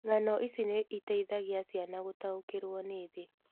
Ng'ano ici nĩ iteithagia ciana gũtaũkĩrũo nĩ thĩ.